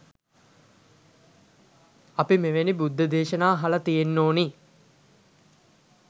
අපි මෙවැනි බුද්ධ දේශනා අහලා තියෙන්න ඕන